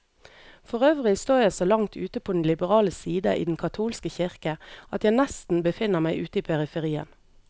Forøvrig står jeg så langt ute på den liberale side i den katolske kirke, at jeg nesten befinner meg ute i periferien.